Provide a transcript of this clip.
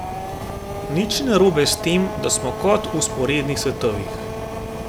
Nič ni narobe s tem, da smo kot v vzporednih svetovih.